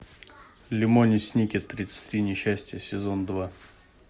лемони сникет тридцать три несчастья сезон два